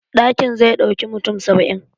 Ɗakin zai ɗauki mutum saba'in